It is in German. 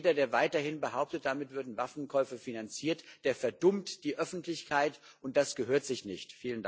Jeder, der weiterhin behauptet, damit würden Waffenkäufe finanziert, der verdummt die Öffentlichkeit, und das gehört sich nicht.